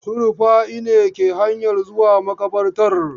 Su Rufa'i ne ke hanyan zuwa maƙabartar.